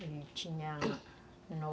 Ele tinha no